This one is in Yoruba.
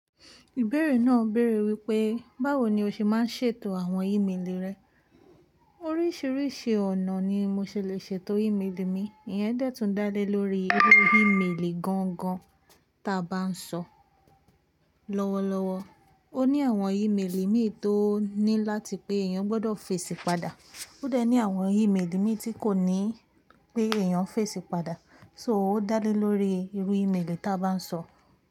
Ìbéèrè náà béèrè wípé, báwo ni o ṣe máa ń ṣètò àwọn ímélì rẹ? Oríṣiríṣi ọ̀nà ni mo ṣe lè ṣètò ímélì mi. Iyẹn dẹ́tùn dá lé lórí irú ímélì gangan ta bá ń sọ. Lọ́wọ́lọ́wọ́. Ó ní àwọn ímélì mi tó ní láti pé èèyàn gbọdọ̀ fèsì padà. Ó dẹ̀ ní àwọn ímélì mi tí kò ní pé èèyàn fèsì padà. So, ó dá lé lórí irú ímélì ta bá ń sọ.